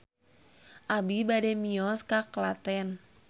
Abi bade mios ka Klaten